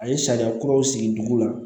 A ye sariya kuraw sigi dugu la